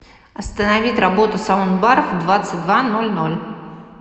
остановить работу саундбар в двадцать два ноль ноль